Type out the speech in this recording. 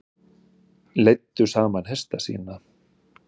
Leiddu saman hesta sína